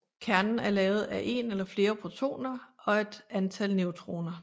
Kernen er lavet af en eller flere protoner og et antal neutroner